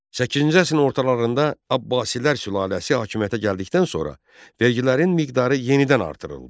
Səkkizinci əsrin ortalarında Abbasilər sülaləsi hakimiyyətə gəldikdən sonra vergilərin miqdarı yenidən artırıldı.